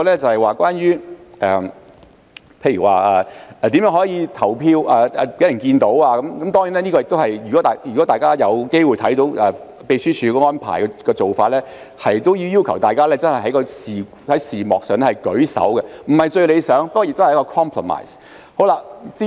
此外，關於如何讓大家看到投票，如果大家有機會看到秘書處安排的做法，便是要求議員在視像上舉手，這不是最理想，但也是一個 compromise。